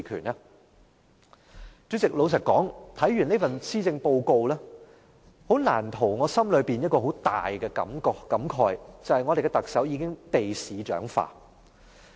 代理主席，老實說，看完這份施政報告，難逃我心裏一個很大的感慨，就是我們的特首已經被市長化。